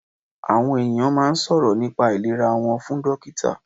Àwọn ènìyàn máa n sọ̀rọ̀ nípa àìlera wọ́n fún dọ́kítà